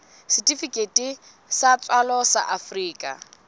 setifikeiti sa tswalo sa afrika